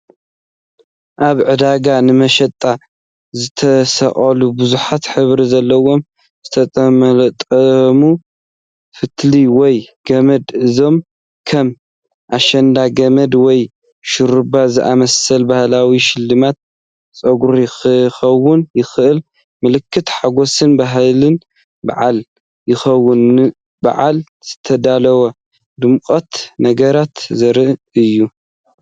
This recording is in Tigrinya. ኣብ ዕዳጋ ንመሸጣ ዝተሰቐሉ ብዙሕ ሕብሪ ዘለዎም ዝተጠምጠሙ ፈትሊ ወይ ገመዳት። እዚኦም ከም ኣሸንዳ ገመድ ወይ ሽሩባ ዝኣመሰሉ ባህላዊ ሽልማት ጸጉሪ ክኾኑ ይኽእሉ፣ ምልክት ሓጎስን ባህልን በዓልን ኮይኑ፡ ንበዓል ዝተዳለዉ ድሙቓት ነገራት ዘርኢ እዩ።